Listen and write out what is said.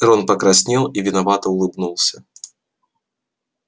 рон покраснел и виновато улыбнулся